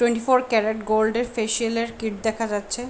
Twenty four carat gold -এর facial -এর kit দেখা যাচ্ছে ।